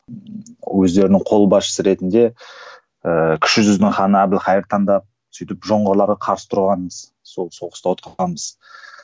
өздерінің қолбасшысы ретінде ыыы кіші жүздің ханы әбілхайыр таңдап сөйтіп жоңғарларға қарсы тұрғанбыз сол соғысты оқығанбыз